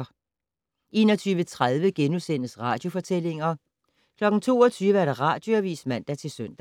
21:30: Radiofortællinger * 22:00: Radioavis (man-søn)